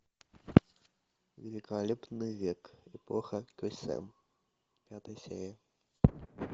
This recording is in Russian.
великолепный век эпоха кесем пятая серия